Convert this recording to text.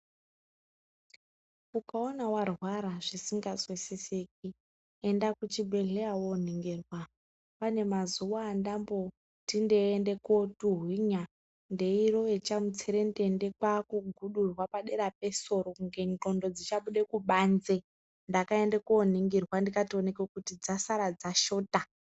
Ukaona warwara zvisikazwisisiki, enda kuchibhedhleya wooningirwa. Pane mazuwa endamboti ndiende kootuhwina, ndeirowe chamutserendende, kwaakugudurwe padera pesoro kunge ngqondo dzichabude kubanze, ndakaende kooningirwa, ndikatooneke kuti dzasara dzashota.